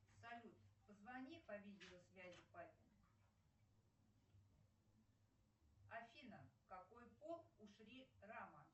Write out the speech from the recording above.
салют позвони по видеосвязи папе афина какой пол у шри рама